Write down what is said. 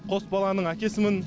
қос баланың әкесімін